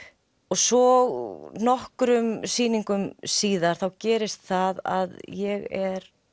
svo nokkrum sýningum síðar gerist það að ég er